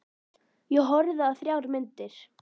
Ég horfði á þrjár myndir.